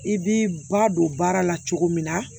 I b'i ba don baara la cogo min na